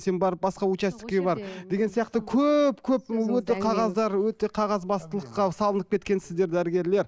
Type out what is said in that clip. сен барып басқа участокке бар деген сияқты көп көп өте қағаздар өте қағазбастылыққа салынып кеткенсіздер дәрігерлер